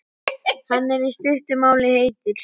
Hann er, í stuttu máli, heitur.